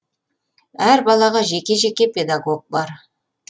әр балаға жеке жеке педагог бар